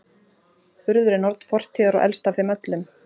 urður er norn fortíðar og elst af þeim öllum